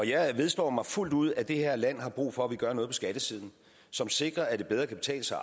jeg vedstår fuldt ud at det her land har brug for at vi gør noget på skattesiden som sikrer at det bedre kan betale sig